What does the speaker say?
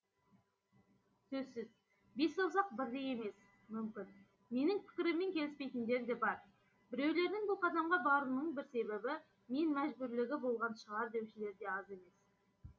сөзсіз бес саусақ бірдей емес мүмкін менің пікіріммен келіспейдіндер де бар біреулердің бұл қадамға баруының бір себебі мен мәжбүрлігі болған шығар деушілер де аз емес